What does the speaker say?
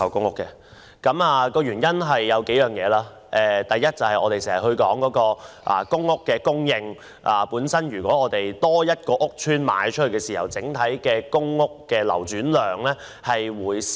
我反對的原因如下：第一，我們經常談到公屋供應，假如多一個屋邨可供出售，公屋的整體流轉量便會減少。